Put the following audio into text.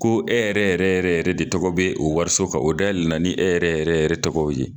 Ko e yɛrɛ yɛrɛ yɛrɛ yɛrɛ de tɔgɔ be o wariso kan, o dayɛlɛ na ni e yɛrɛ yɛrɛ yɛrɛ tɔgɔ ye